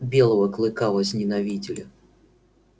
белого клыка возненавидели